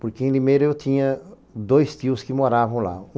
Porque em Limeira eu tinha dois tios que moravam lá.